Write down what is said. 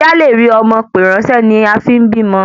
Kí a le rí ọmọ pè ran nísé ni a fín bímọ